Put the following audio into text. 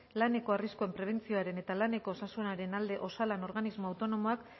laneko arriskuen prebentzioaren eta laneko osasunaren alde osalan organismo autonomoak